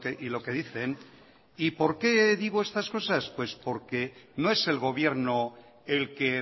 y lo que dicen y por qué digo estas cosas porque no es el gobierno el que